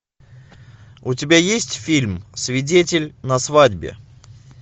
у тебя есть фильм свидетель на свадьбе